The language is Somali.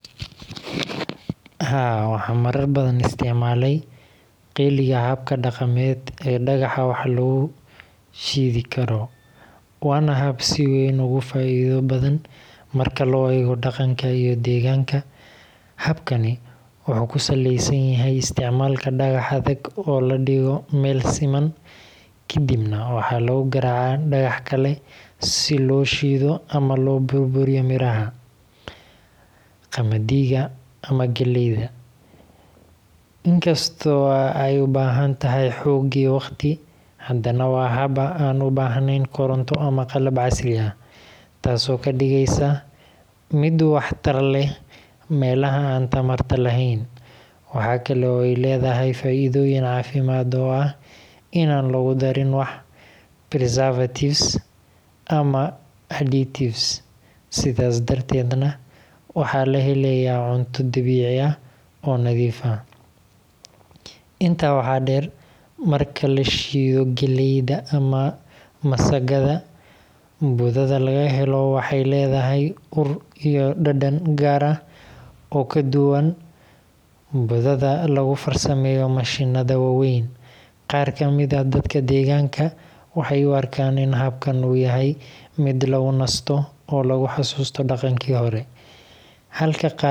Haa, waxaan marar badan isticmaalay qeliga habka dhaqameed ee dhagaxa wax lagu shindig karo, waana hab si weyn ugu faa’iido badan marka loo eego dhaqanka iyo deegaanka. Habkani wuxuu ku saleysan yahay isticmaalka dhagax adag oo la dhigo meel siman, ka dibna waxaa lagu garaacaa dhagax kale si loo shiddo ama loo burburiyo miraha, qamadiga, ama galleyda. In kasta oo ay u baahan tahay xoog iyo waqti, haddana waa hab aan u baahnayn koronto ama qalab casri ah, taasoo ka dhigaysa mid waxtar leh meelaha aan tamarta lahayn. Waxa kale oo ay leedahay faa’iido caafimaad oo ah in aan lagu darin wax preservatives ama additives, sidaas darteedna waxaa la helayaa cunto dabiici ah oo nadiif ah. Intaa waxaa dheer, marka la shiddo galleyda ama masagada, budada laga helo waxay leedahay ur iyo dhadhan gaar ah oo ka duwan budada lagu farsameeyo mashiinnada waaweyn. Qaar ka mid ah dadka deegaanka waxay u arkaan in habkan uu yahay mid lagu nasto oo lagu xasuusto dhaqankii hore, halka qaar.